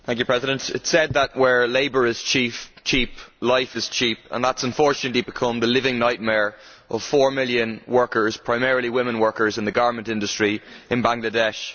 Mr President, it is said that, where labour is cheap, life is cheap. That has, unfortunately, become the living nightmare of four million workers primarily women workers in the garment industry in Bangladesh.